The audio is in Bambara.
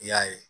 I y'a ye